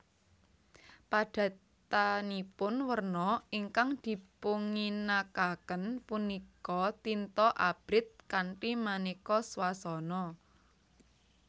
Padatanipun werna ingkang dipunginakaken punika tinta abrit kanthi maneka swasana